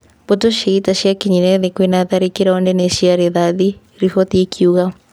Mbũtũ cia-ita ciakinyire thĩ kwĩna tharĩkĩro nene cia rithathi," riboti ikiuga.